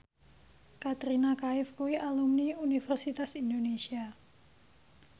Katrina Kaif kuwi alumni Universitas Indonesia